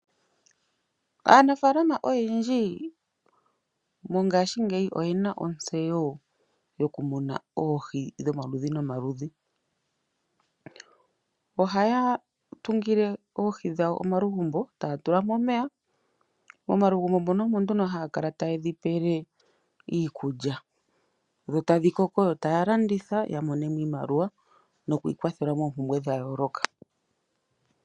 Aanafaalama oyendji mongashingeyi oyena ontseyo mokumuna oohi dhomaludhi nomaludhi. Ohaya tungile oohi dhawo omalugumbo e taya tula mo omeya, yo taya kala taye dhi pe iikulya dhikoke yalandithe yo ya mone mo iimaliwa, yiikwathele moompumbwe dhayooloka.